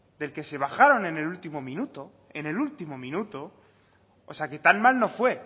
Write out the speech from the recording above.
del que se bajaron en el último minuto en el último minuto o sea que tan mal no fue